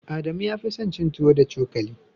Adamu ya fi son cin tuwo da cokali.